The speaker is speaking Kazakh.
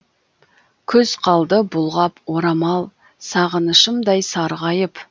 күз қалды бұлғап орамал сағынышымдай сарғайып